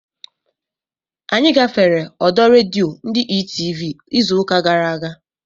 Anyị gafere ọdọ redio ndị Etv izu ụka gara aga